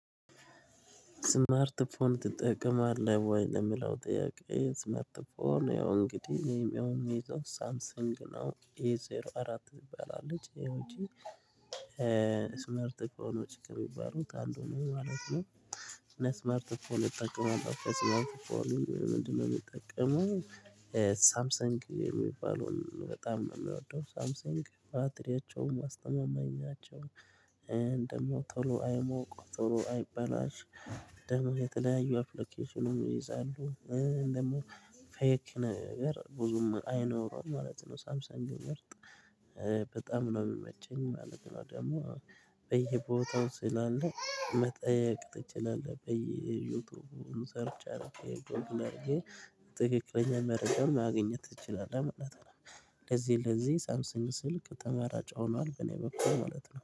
ስማርት ፎን ትጠቀማለህ ወይ ለሚለው ጥያቄ ስማርት ፎን ያው እንግዲህ የሚሆን የምይዘው ሳምሰንግ ነው ኤ ዜሮ አራት ትባላለች ይሄ ውጪ ስማርት ፎን ችግር የሚባሉት አንዱ ነው ማለት ነው። አና ስማርት ፎን እጠቀማለሁ ስማርት ፎን ለምንድነው እምጠቀመው ሳምሰንግ የሚባለውን በጣም ነው የምወደው ሳምሰንግ ባትሪያቸውን ማስተማማኛቸውን ደግም ቶሎ አይሞቅ ቶሎ አይበላሽ ደግሞ የተለያዩ አፕሎኬሽኑን ይይዛሉ ደግሞ ፌክ ነገር ብዙም አይኖረውም ማለት ነው ሳምሳንግን ምርት በጣም ነው የሚመቸኝ ማለት ነው ደግሞ በየቦታው ስላለ መጠየቅ ትችላለህ በዩቲዩብ ሙሉ ሰርች አርገህ ጎግል አርገህ ትክክለኛ መርጃ ማግኘት ትቺላለህ ማለት ነው። ለዚህ ለዚህ ሳምሰንግ ስልክ ተመራጭ ሆኗል በኔ በኩል ማለት ነው